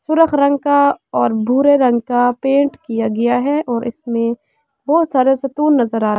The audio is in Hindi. सुरख रंग का और भूरे रंग का पेंट किया गया है और इसमें बोहोत सारे सतून नजर आ --